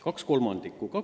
" Kaks kolmandikku!